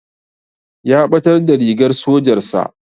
Ya ɓatar da rigar sojar sa